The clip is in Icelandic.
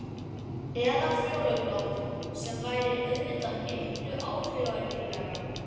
Eða fjólublátt sem væri auðvitað miklu áhrifaríkara.